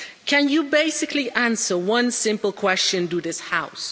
Can you basically answer one simple question to this house?